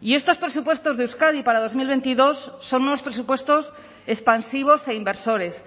y estos presupuestos de euskadi para dos mil veintidós son unos presupuestos expansivos e inversores